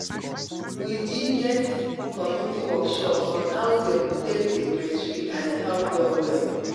we be get community workshop on how them take day breastfeed and e help well well.